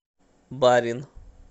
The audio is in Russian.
барин